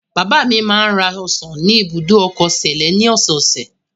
Bàbá mi máa ń ra ọsàn ni ibùdó ọkọ Sẹ̀lẹ́ ní ọ̀sẹ̀ẹ̀sẹ̀.